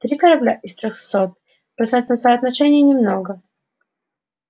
три корабля из трёхсот в процентном соотношении немного